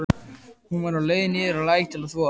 Hún var á leið niður að læk til að þvo.